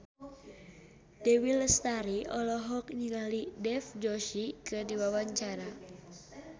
Dewi Lestari olohok ningali Dev Joshi keur diwawancara